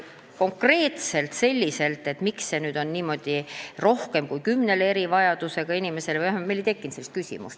Konkreetselt sellist küsimust, miks on seal kirjas niimoodi, et rohkem kui kümnele erivajadusega inimesele, meil ei tekkinud.